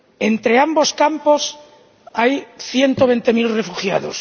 Entre ambos campos hay ciento veinte mil refugiados.